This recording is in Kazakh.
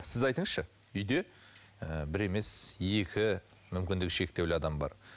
сіз айтыңызшы үйде ы бір емес екі мүмкіндігі шектеулі адам бар